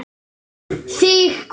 Þig hvað?